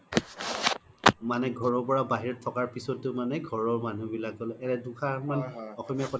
মানে ঘৰৰ পৰা বাহিৰত থকাৰ পিছ্তও মানে ঘৰৰ মানুহ বিলাক এনে দুআসাৰ মান